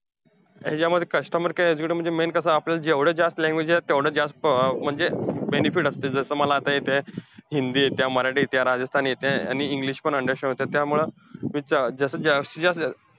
यांच्यामध्ये customer care executive मध्ये main कसंय, आपल्याला जेवढ्या जास्त language येत्यात तेवढ्या जास्त अं म्हणजे benefit असतंय. जसं मला आता येतंय हिंदी येतिया, मराठी येतिया, राजस्थानी येतिया, आणि english पण understand होतीय. त्यामुळे जसं जास्तीत जास्त